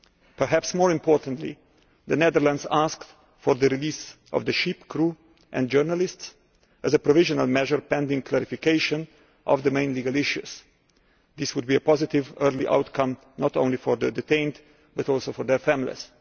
Perhaps more importantly, the Netherlands has asked for the release of the ship's crew and journalists as a provisional measure pending clarification of the main legal issues. This would be a positive early outcome not only for those detained but also for their families.